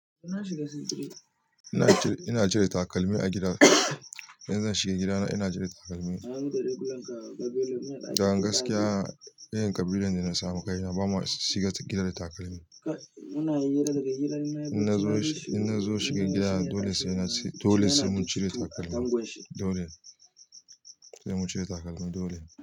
Ina cire takalmi a gida. Idan zan shiga gidana ina cire takalmi. Dan gaskiya, irin ƙabilun da na samu kai na ba mu shiga cikin gida da takalmi. In na zo shiga gida dole sai mun cire takalmi, dole. Dole sai mun cire takalmi. Dole.